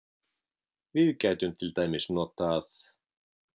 Við gætum til dæmis notað